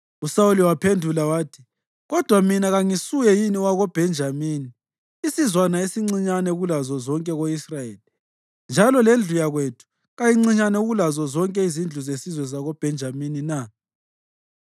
USawuli waphendula wathi, “Kodwa mina kangisuye yini wakoBhenjamini, isizwana esincinyane kulazo zonke ko-Israyeli, njalo lendlu yakwethu kayincinyane kulazo zonke izindlu zesizwe sakoBhenjamini na?”